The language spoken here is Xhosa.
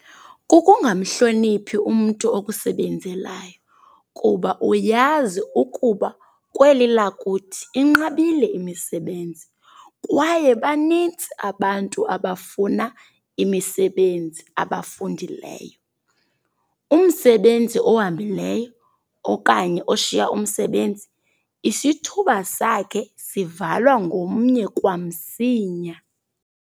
Kukungamhloniphi umntu okusebenzelayo kuba uyazi ukuba kweli lakuthi inqabile imisebenzi, kwaye banintsi abantu abafuna imisebenzi abafundileyo. Umsebenzi ohambileyo okanye oshiya umsebenzi, isithuba sakhe sivalwa ngomnye kwamsinya.